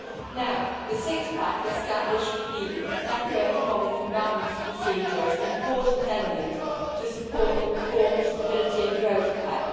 Now, the Six pack established the Macroeconomic Imbalance Procedure as an important element supporting the reformed Stability and Growth Pact.